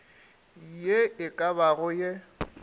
ye e ka bago ye